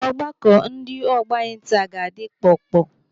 Ọgbakọ ndị ọgbọ anyị taa ga-adị kpọọ kpọọ.